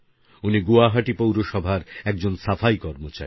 উনি গুয়াহাটি পৌরসভার একজন সাফাই কর্মচারী